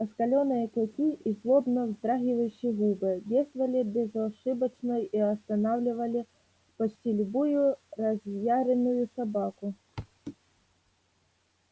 оскаленные клыки и злобно вздрагивающие губы действовали безошибочно и останавливали почти любую разъярённую собаку